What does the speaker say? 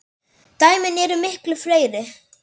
Dæmin eru miklu fleiri.